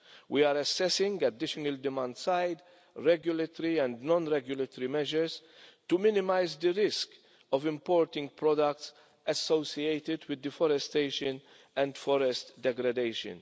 we are assessing additional demand-side, regulatory and non regulatory measures to minimise the risk of importing products associated with deforestation and forest degradation.